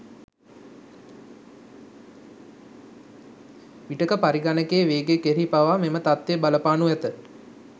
විටක පරිගණකයේ වේගය කෙරෙහි පවා මෙම තත්වය බලපානු ඇත.